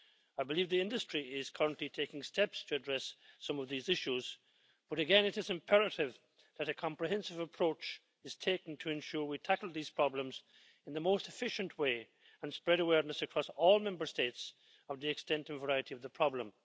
I believe the industry is currently taking steps to address some of these issues, but again it is imperative that a comprehensive approach is taken to ensure we tackle these problems in the most efficient way and spread awareness across all Member States of the extent and variety of the problem.